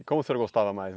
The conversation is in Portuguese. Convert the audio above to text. E como o senhor gostava mais?